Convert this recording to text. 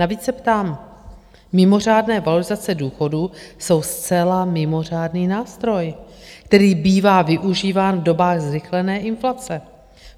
Navíc se ptám: Mimořádné valorizace důchodů jsou zcela mimořádný nástroj, který bývá využíván v dobách zrychlené inflace.